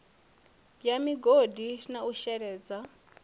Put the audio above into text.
bwa migodi na u sheledza